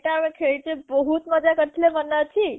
ଏଇଟା ଆମେ ଖେଲିଚେ ବହୁତ ମଜ଼ା କରିଥିଲେ ମନେ ଅଛି